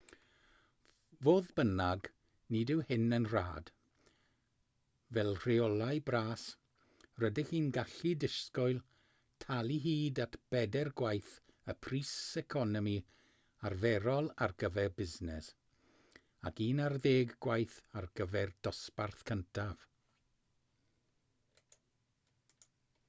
fodd bynnag nid yw hyn yn rhad fel rheolau bras rydych chi'n gallu disgwyl talu hyd at bedair gwaith y pris economi arferol ar gyfer busnes ac un ar ddeg gwaith ar gyfer dosbarth cyntaf